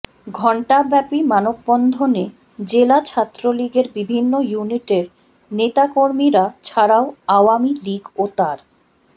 ঘণ্টাব্যাপী মানববন্ধনে জেলা ছাত্রলীগের বিভিন্ন ইউনিটের নেতাকর্মীরা ছাড়াও আওয়ামী লীগ ও তার